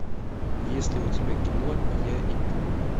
есть ли у тебя кино я и ты